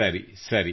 ಸರಿ ಸರಿ